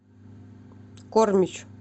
кормич